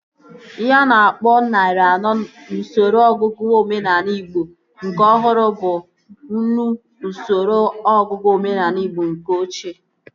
Ihe a na-akpọ narị anọ n'usoro ọnụọgụgụ omenaala igbo nke ọhụrụ bụ nnu n'usoro ọnụọgụgụ omenaala igbo nke ochie